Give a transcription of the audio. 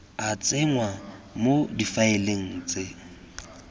a tsenngwa mo difaeleng tse